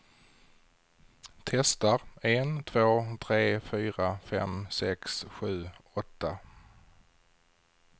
Testar en två tre fyra fem sex sju åtta.